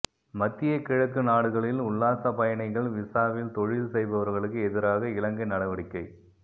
மத்திய கிழக்கு நாடுகளில் உல்லாசப் பயணிகள் விஸாவில் தொழில் செய்பவர்களுக்கு எதிராக இலங்கை நடவடிக்கை